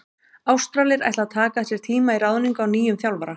Ástralir ætla að taka sér tíma í ráðningu á nýjum þjálfara.